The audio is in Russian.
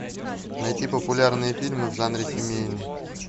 найти популярные фильмы в жанре семейный